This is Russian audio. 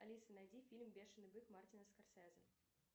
алиса найди фильм бешеный бык мартина скорцезе